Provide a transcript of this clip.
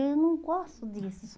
Eu não gosto disso.